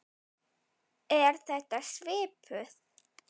Er þetta svipuð